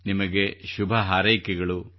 ನಿಮಗೆ ಶುಭ ಹಾರೈಕೆಗಳು